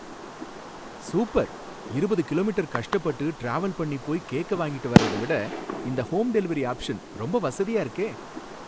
super இருபது kilometre கஷ்டப்பட்டு travel பண்ணி போய் கேக்க வாங்கிட்டு வர்றத விட இந்த ஹோம் டெலிவெரி ஆப்ஷன் ரொம்ப வசதியா இருக்கே